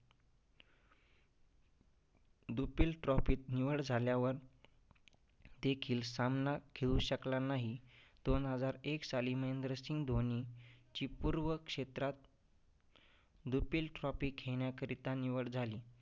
दुपील trophy निवड झाल्यावर देखील सामना खेळू शकला नाही. दोन हजार एक साली महेंद्रसिंह धोनीची पूर्व क्षेत्रात दुपील trophy खेळण्याकरीता निवड झाली.